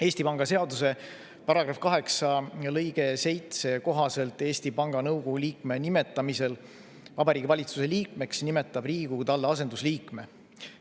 Eesti Panga seaduse § 8 lõike 7 kohaselt Eesti Panga nõukogu liikme nimetamisel Vabariigi Valitsuse liikmeks nimetab Riigikogu talle asendusliikme.